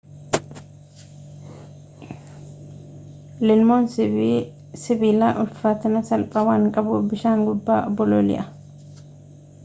lilmoon sibilaa ulfaatina salphaa waan qabuuf bishaan gubbaa bololi'a